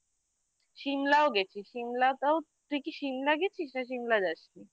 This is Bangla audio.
Simla ও গেছি Simla তাও তুই কি Simla গেছিস না Simla যাসনি?